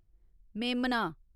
मेमना